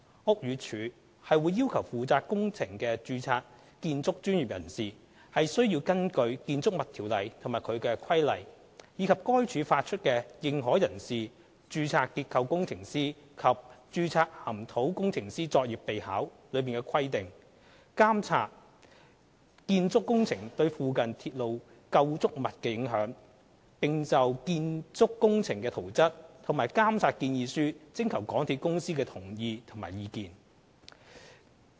屋宇署會要求負責工程的註冊建築專業人士須根據《建築物條例》及其規例，以及該署發出的《認可人士、註冊結構工程師及註冊岩土工程師作業備考》的規定，監測建築工程對附近鐵路構築物的影響，並就建築工程的圖則及監察建議書徵求香港鐵路有限公司的同意及意見。